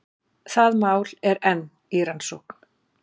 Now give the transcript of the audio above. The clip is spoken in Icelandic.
Það mál er enn í rannsókn